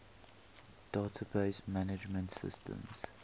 database management systems